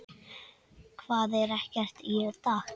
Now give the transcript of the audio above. Hvað, er ekkert í dag?